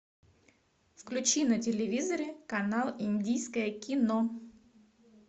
включи на телевизоре канал индийское кино